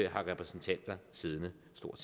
har repræsentanter siddende